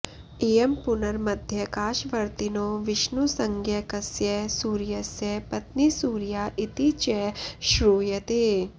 इयं पुनर्मध्याकाशवर्तिनो विष्णुसंज्ञकस्य सूर्यस्य पत्नी सूर्या इति च श्रूयते